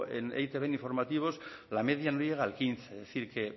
en e i te be en informativos la media no llega al quince es decir que